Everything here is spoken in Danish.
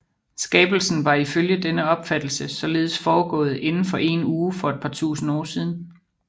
Skabelsen var ifølge denne opfattelse således foregået inden for én uge for et par tusind år siden